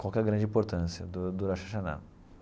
Qual que é a grande importância do do Rosh Hashanah?